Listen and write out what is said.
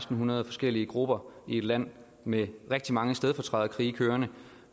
hundrede forskellige grupper i et land med rigtig mange stedfortræderkrige kørende